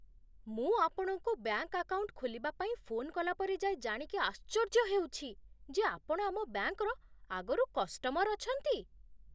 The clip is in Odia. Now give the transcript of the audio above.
ମୁଁ ଆପଣଙ୍କୁ ବ୍ୟାଙ୍କ୍ ଆକାଉଣ୍ଟ ଖୋଲିବା ପାଇଁ ଫୋନ୍ କଲା ପରେ ଯାଇ ଜାଣିକି ଆଶ୍ଚର୍ଯ୍ୟ ହେଉଛି ଯେ ଆପଣ ଆମ ବ୍ୟାଙ୍କ୍‌ର ଆଗରୁ କଷ୍ଟମର୍ ଅଛନ୍ତି!